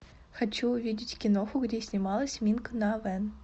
хочу увидеть киноху где снималась минг на вен